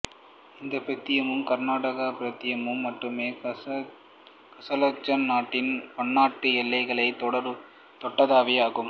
இந்த பிராந்தியமும் கராகண்டா பிராந்தியம் மட்டுமே கசக்கஸ்தான் நாட்டின் பன்னாடடு எல்லைகளைத் தொடாதவை ஆகும்